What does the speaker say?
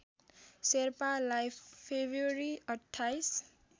शेर्पालाई फेब्रुअरी २५